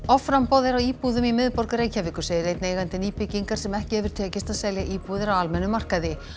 offramboð er á íbúðum í miðborg Reykjavíkur segir einn eigandi nýbyggingar sem ekki hefur tekist að selja íbúðir á almennum markaði